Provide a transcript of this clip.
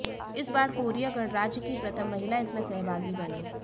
इस बार कोरिया गणराज्य की प्रथम महिला इसमें सहभागी बनी